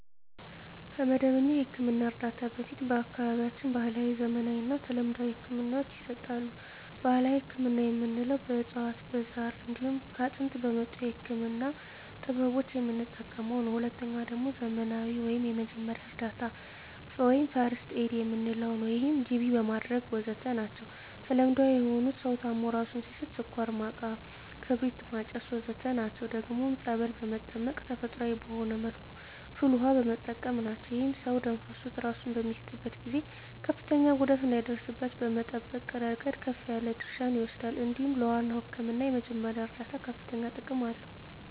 ከመደበኛ የሕክምና እርዳታ በፊት በአካባቢያችን ባህለዊ፣ ዘመናዊና ተለምዷዊ ህክምናወች ይሰጣሉ። ባህላዊ ህክምና የምንለዉ በእፅዋት በዛር እንዲሁም ከጥንት በመጡ የህክምና ጥበቦች የምንጠቀመዉ ነዉ። ሁለተኛዉ ደግሞ ዘመናዊ ወይም የመጀመሪያ እርዳታ(ፈርክት ኤድ) የምንለዉ ነዉ ይህም ጅቢ ማድረግ ወዘተ ናቸዉ። ተለምዳዊ የሆኑት ሰዉ ታሞ እራሱን ሲስት ስኳር ማቃም ክርቢት ማጨስ ወዘተ ናቸዉ። ደግሞም ፀበል በመጠመቅ ተፈጥሮአዊ በሆነ መልኩ ፍል ዉሃ በመጠቀም ናቸዉ። ይህም ሰዉ ደም ፈሶት እራሱን በሚስትበት ጊዜ ከፍተኛ ጉዳት እንዳይደርስበት ከመጠበቅ እረገድ ከፍ ያለ ድርሻ ይወስዳል እንዲሁም ለዋናዉ ህክምና የመጀመሪያ እርዳታ ከፍተኛ ጥቅም አለዉ።